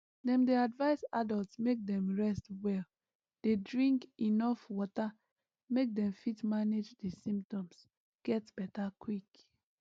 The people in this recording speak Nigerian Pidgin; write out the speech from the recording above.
dem dey advise adults make dem rest well dey drink enuf water make dem fit manage di symptoms get beta quick